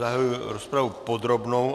Zahajuji rozpravu podrobnou.